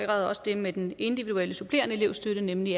også det med den individuelle supplerende elevstøtte nemlig